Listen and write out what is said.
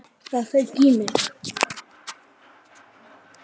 Það fauk í mig.